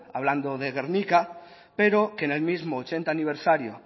hablando de gernika pero que en el mismo ochenta aniversario